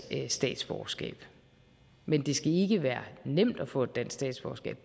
statsborgerskab men det skal ikke være nemt at få et dansk statsborgerskab